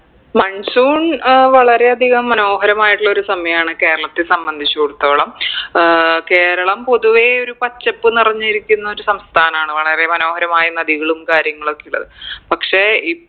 monsoon അഹ് വളരെ അധികം മനോഹരമായിട്ടുള്ളൊരു സമയാണ് കേരളത്തെ സംബന്ധിച്ചുടത്തോളം ഏർ കേരളം പൊതുവേ ഒരു പച്ചപ്പ് നിറഞ്ഞിരിക്കുന്ന ഒരു സംസ്ഥാനാണ് വളരെ മനോഹരമായി നദികളും കാര്യങ്ങളും ഒക്കെ ഉള്ളത് പക്ഷേ ഇ